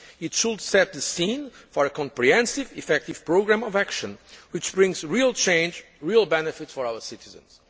happen. It should set the scene for a comprehensive, effective programme of action which brings real change, real benefit for our citizens.